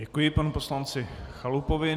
Děkuji panu poslanci Chalupovi.